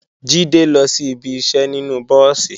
Jídé lọ sí ibi iṣẹ́ nínú búùsì